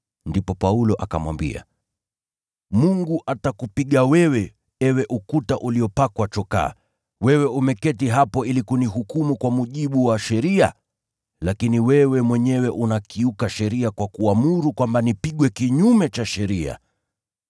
Ndipo Paulo akamwambia, “Mungu atakupiga wewe, ewe ukuta uliopakwa chokaa! Wewe umeketi hapo ili kunihukumu kwa mujibu wa sheria, lakini wewe mwenyewe unakiuka sheria kwa kuamuru kwamba nipigwe kinyume cha sheria!”